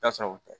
Taa sɔrɔ u tɛ